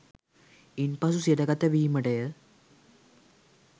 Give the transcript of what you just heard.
ඉන්පසු සිරගත වීමටය